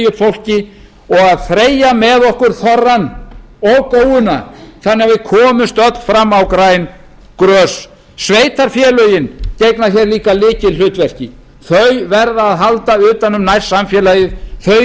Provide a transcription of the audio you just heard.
fólki og þreyja með okkur þorrann og góuna þannig að við komumst öll fram á græn grös sveitarfélögin gegna hér líka lykilhlutverki þau verða að halda utan um nærsamfélagið þau